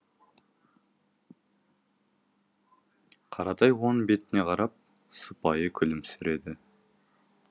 қаратай оның бетіне қарап сыпайы күлімсіреді